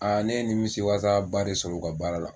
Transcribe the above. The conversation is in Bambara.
A ne ye nin misi wasa ba de sɔrɔ u ka baara la.